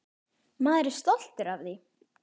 Maður er stoltur af því.